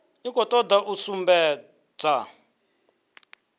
i khou toda u sumbedza